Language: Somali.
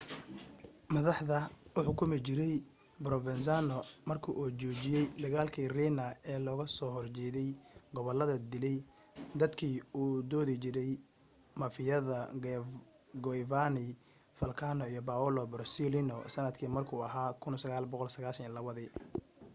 madaxda uu xukumi jiray provenzano marka uu joojiyay dagaalki riina ee looga soo horjeday gobolada dilay dadkii u doodi jiray mafiyada giovanni falcone iyo paolo borsellino sanadka markuu ahaa 1992